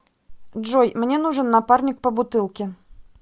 джой мне нужен напарник по бутылке